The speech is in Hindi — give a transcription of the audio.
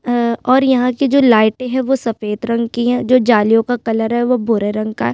अ और यहाँ की जो लाइटें है वो सफ़ेद रंग की है जो जालियों का कलर है वो भूरे रंग का हैं।